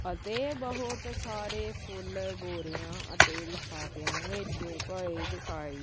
ਅਤੇ ਬਹੁਤ ਸਾਰੇ ਫੁੱਲ ਬੋਰਿਆਂ ਅਤੇ ਲਫਾਫਿਆਂ ਵਿੱਚ ਪਾਏ ਦਿਖਾਈ--